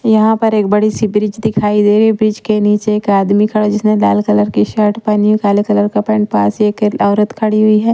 यहाँ पर एक बड़ी सी ब्रिज दिखाई दे रही है ब्रिज के नीचे एक आदमी खड़ा जिसने लाल कलर की शर्ट पहनी काले कलर का पेंट पास एक औरत खड़ी हुई है।